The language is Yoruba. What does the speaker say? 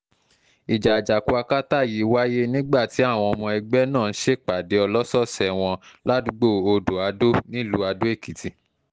ìjà àjàkú akátá yìí wáyé nígbà tí àwọn ọmọ ẹgbẹ́ náà ń ṣèpàdé ọlọ́sọ̀ọ̀sẹ̀ wọn ládùúgbò odò-adó nílùú àdó-èkìtì